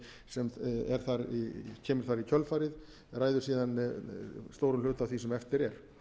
sem kemur þar í kjölfarið ræður síðan stórum hluta af því sem eftir er